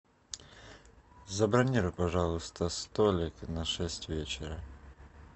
забронируй пожалуйста столик на шесть вечера